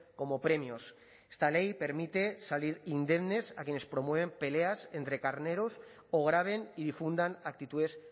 como premios esta ley permite salir indemnes a quienes promueven peleas entre carneros o graben y difundan actitudes